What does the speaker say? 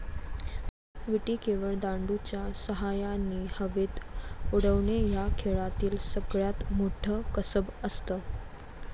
विटी केवळ दांडू च्या सहाय्याने हवेत उडवणे या खेळातील सगळ्यात मोठं कसब असत